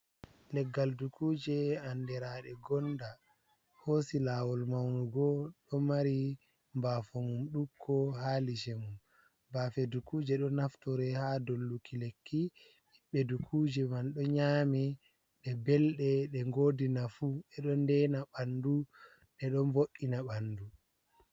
Leggal dukuje anderade gonda hosi lawol maunugo do mari bafomum dukko ha liche mum bafe dukuje do naftore ha dolluki lekki hiɓbe dukuje man do nyami be belde de ngodina fu edo deina bandu de don vo’ina bandu.